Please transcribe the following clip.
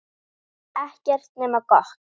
Ekkert nema gott.